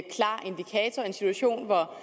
en situation hvor